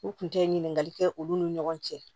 U kun tɛ ɲininkali kɛ olu ni ɲɔgɔn cɛ